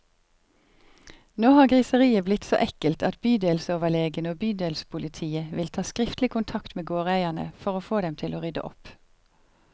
Nå har griseriet blitt så ekkelt at bydelsoverlegen og bydelspolitiet vil ta skriftlig kontakt med gårdeierne, for å få dem til å rydde opp.